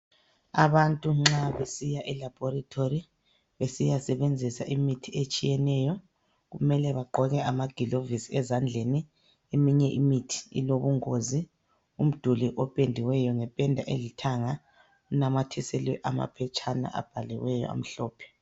Abantu nxa besiya elabholitholi besiyasebenzisa imithi etshiyeneyo, kumele bagqoke amagilovisi ezandleni. Eminye imithi ilobungozi. Umduli opendiweyo ngependa elithanga, unamathiselwe amaphetshana abhaliweyo amhlophe.